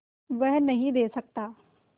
वह नदीं दे सकता